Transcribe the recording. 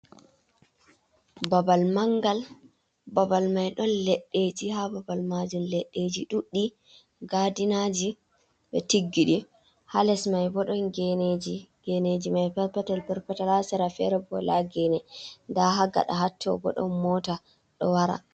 Babal mangal babal mai don leɗɗeji ha babal majum leɗɗeji ɗuɗɗi gadinaji ɓe tiggiɗi hales mai bo ɗon geneji, geneji mai perpetel perpetel ha sera fere bo wala gene nda hagada hatto bo ɗon mota ɗo wara